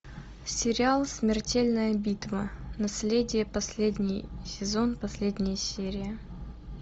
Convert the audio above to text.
сериал смертельная битва наследие последний сезон последняя серия